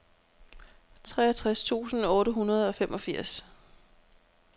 treogtres tusind otte hundrede og femogfirs